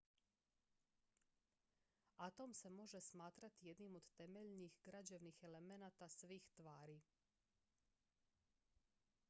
atom se može smatrati jednim od temeljnih građevnih elemenata svih tvari